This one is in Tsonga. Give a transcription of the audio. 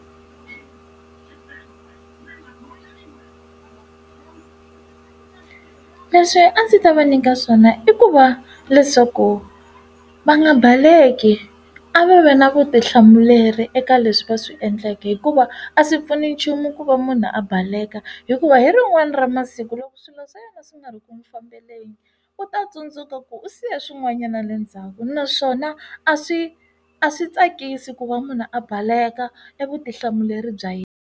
Leswi a ndzi ta va nyika swona i ku va leswaku va nga baleki, a va na vutihlamuleri eka leswi va swi endleke hikuva a swi pfuni nchumu ku va munhu a baleka. Hikuva hi rin'wana ra masiku loko swilo swa yena swi nga ri ku n'wi fambeleni, u ta tsundzuka ku u siya swin'wanyana le ndzhaku. Naswona a swi a swi tsakisi ku va munhu a baleka e vutihlamuleri bya yena.